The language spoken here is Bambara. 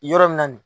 Yɔrɔ min na nin